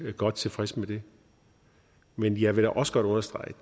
godt tilfreds med det men jeg vil da også godt understrege at